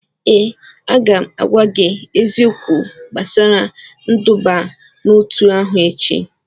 ee, a ga m agwa gị eziokwu gbasara nduba n'otu ahụ echi